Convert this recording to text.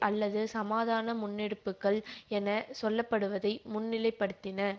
அல்லது சமாதான முன்னெடுப்புகள் என சொல்ல படுவதை முன்நிலைப்படுத்தின